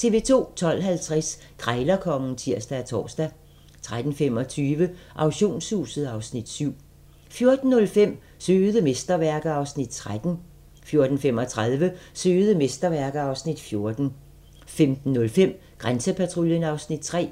12:50: Krejlerkongen (tir og tor) 13:25: Auktionshuset (Afs. 7) 14:05: Søde mesterværker (Afs. 13) 14:35: Søde mesterværker (Afs. 14) 15:05: Grænsepatruljen (Afs. 3)